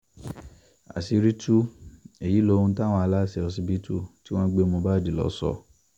àṣírí tú èyí lóhun táwọn aláṣẹ ọsibítù tí wọ́n gbé mohbad lọ sọ